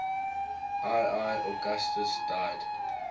ii augustus died